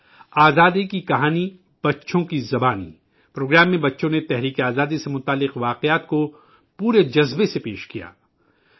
''آزادی کی کہانی بچوں کی زبانی''پروگرام میں بچوں نے جنگی آزادی سے متعلق کہانیاں پورے جذبے کے ساتھ پیش کیں